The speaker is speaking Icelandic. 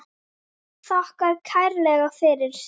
Þakkar kærlega fyrir sig.